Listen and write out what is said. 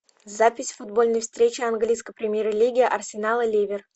запись футбольной встречи английской премьер лиги арсенал и ливер